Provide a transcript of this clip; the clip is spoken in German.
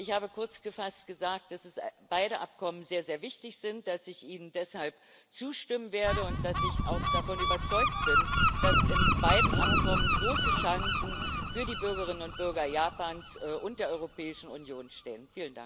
Ich habe kurzgefasst gesagt, dass beide Abkommen sehr, sehr wichtig sind, dass ich ihnen deshalb zustimmen werde und dass ich auch davon überzeugt bin, dass in beiden Abkommen große Chancen für die Bürgerinnen und Bürger Japans und der Europäischen Union stecken.